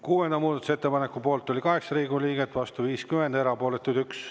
Kuuenda muudatusettepaneku poolt oli 8 Riigikogu liiget, vastu 50, erapooletuid 1.